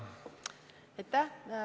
Aitäh!